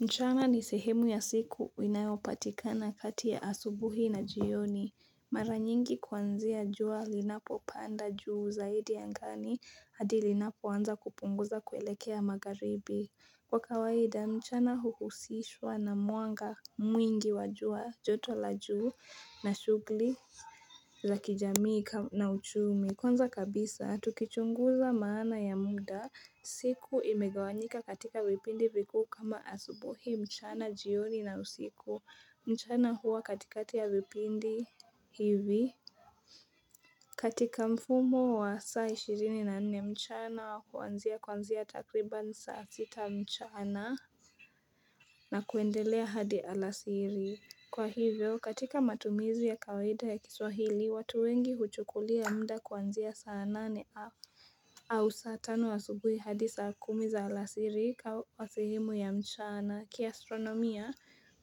Mchana ni sehemu ya siku inayopatikana kati ya asubuhi na jioni. Mara nyingi kuanzia jua linapopanda juu zaidi angani, hadi linapoanza kupunguza kuelekea magharibi. Kwa kawaida, mchana huhusishwa na mwanga mwingi wa jua joto la juu na shugli za kijamii na uchumi. Ya kwanza kabisa, tukichunguza maana ya muda, siku imegawanyika katika vipindi vikuu kama asubuhi mchana jioni na usiku, mchana huwa katikati ya vipindi hivi. Katika mfumo wa saa ishirini na nne mchana wa kuanzia kuanzia takriban saa sita mchana na kuendelea hadi alasiri. Kwa hivyo, katika matumizi ya kawaida ya kiswahili, watu wengi huchukulia muda kuanzia saa nane afu. Au saa tano asubuhi hadi saa kumi za alasiri kwa sehemu ya mchana kiastronomia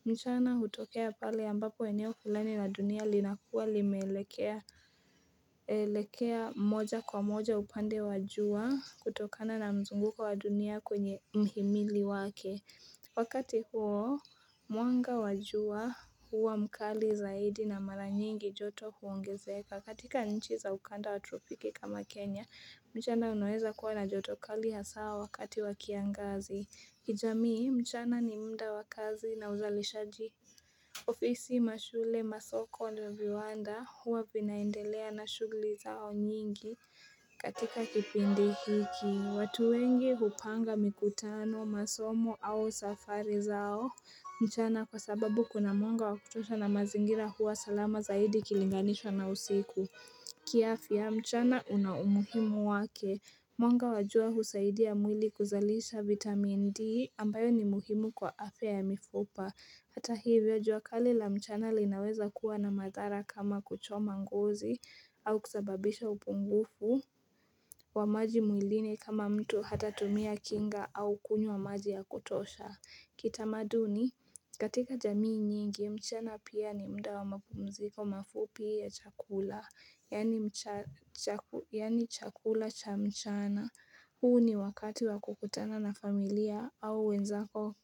mchana hutokea pale ambapo eneo fulani la dunia linakuwa limeelekea moja kwa moja upande wa jua kutokana na mzunguko wa dunia kwenye mhimili wake Wakati huo, mwanga wa jua huwa mkali zaidi na mara nyingi joto huongezeka. Katika nchi za ukanda wa tropiki kama Kenya, mchana unaweza kuwa na joto kali hasa wakati wa kiangazi. Kijamii, mchana ni mda wa kazi na uzalishaji. Ofisi mashule masoko ndo viwanda huwa vinaendelea na shugli zao nyingi katika kipindi hiki. Watu wengi hupanga mikutano, masomo au safari zao mchana kwa sababu kuna mwanga wa kutosha na mazingira huwa salama zaidi ikilinganishwa na usiku kiafya mchana una umuhimu wake Mwanga wa jua husaidia mwili kuzalisha vitamin D ambayo ni muhimu kwa afya ya mifupa Hata hivyo, jua kali la mchana linaweza kuwa na madhara kama kuchoma ngozi au kusababisha upungufu wa maji mwilini kama mtu hatatumia kinga au kunywa maji ya kutosha. Kitamaduni, katika jamii nyingi, mchana pia ni mda wa mapumziko mafupi ya chakula, yaani chakula cha mchana. Huu ni wakati wa kukutana na familia au wenzako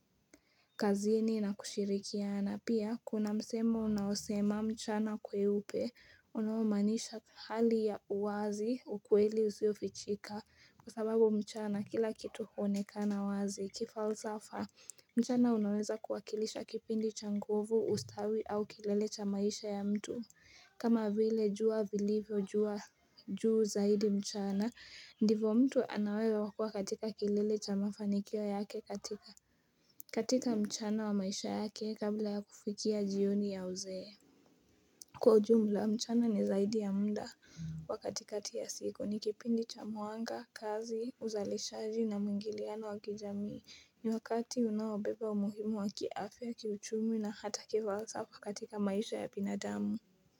kazini na kushirikiana. Pia kuna msemo unaosema mchana kweupe, unaomaanisha hali ya uwazi ukweli usiofichika Kwa sababu mchana kila kitu huonekana wazi, kifalsafa mchana unaweza kuwakilisha kipindi cha nguvu ustawi au kilele cha maisha ya mtu kama vile jua vilivyo juu zaidi mchana ndivo mtu ana uwezo wa kuwa katika kilele cha mafanikio yake katika mchana wa maisha yake kabla ya kufikia jioni ya uzee Kwa ujumla mchana ni zaidi ya mda wa katikati ya siku ni kipindi cha mwanga, kazi, uzalishaji na mwingiliana wa kijamii ni wakati unaobeba umuhimu wa kiafya kiuchumi na hata kifalsafa katika maisha ya binadamu.